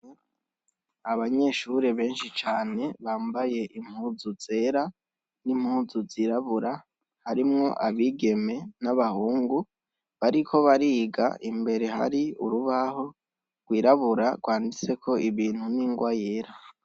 Abanyeshure benshi cane bambaye impuzu zera n' impuzu zirabura, harimwo abigeme n' abahungu bariko bariga, imbere hari urubaho rwirabura rwanditseko ibintu n' ingwa yera.